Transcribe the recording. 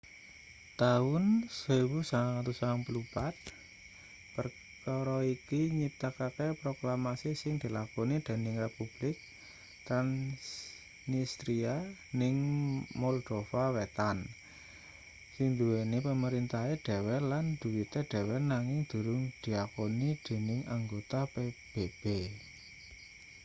taun 1994 perkara iki nyiptakake proklamasi sing dilakoni dening republik transnistria ning moldova wetan sing nduweni pamerintahe dhewe lan dhuwite dhewe nanging durung diakoni dening anggota pbb